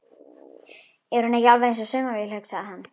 Er hún ekki alveg eins og saumavél, hugsaði það.